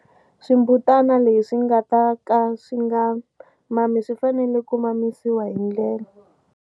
Swimbutana leswi nga ta ka swi nga mami swi fanele ku mamisiwa hi ndlela.